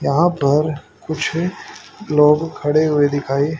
यहां पर कुछ लोग खड़े हुए दिखाइ--